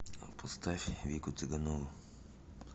поставь вику цыганову